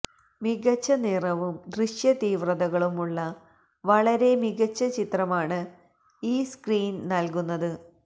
മികച്ച നിറവും ദൃശ്യതീവ്രതകളും ഉള്ള വളരെ മികച്ച ചിത്രമാണ് ഈ സ്ക്രീൻ നൽകുന്നത്